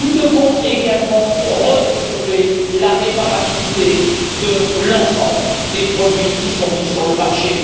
Nous devons également redévelopper la réparabilité de l'ensemble des produits mis sur le marché.